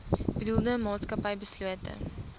bedoelde maatskappy beslote